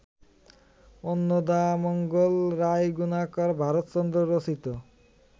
অন্নদামঙ্গল রায়গুণাকর ভারতচন্দ্র রচিত